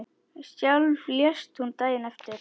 Sjálf lést hún daginn eftir.